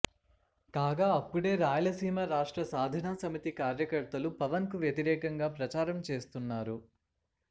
కాగా అప్పుడే రాయలసీమ రాష్ట్ర సాధన సమితి కార్యకర్తలు పవన్ కు వ్యతిరేకంగా ప్రచారం చేస్తున్నారు